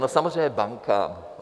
No samozřejmě bankám.